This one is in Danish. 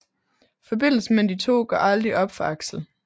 Forbindelsen mellem de to går aldrig op for Axel